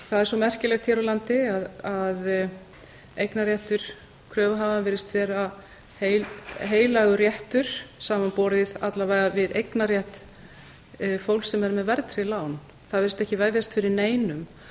svo merkilegt hér á landi að eignarréttur kröfuhafa virðist vera heilagur réttur samanborið alla vega við eignarrétt fólks sem er með verðtryggð lán það virðist ekki vefjast fyrir neinum